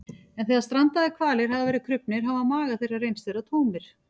en þegar strandaðir hvalir hafa verið krufnir hafa magar þeirra reynst vera tómir